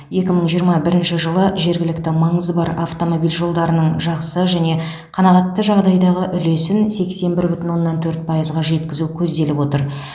екі мың жиырма бірінші жылы жергілікті маңызы бар автомобиль жолдарының жақсы және қанағатты жағдайдағы үлесін сексен бір бүтін оннан төрт пайызға жеткізу көзделіп отыр